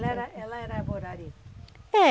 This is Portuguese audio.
ela era ela era Borari. É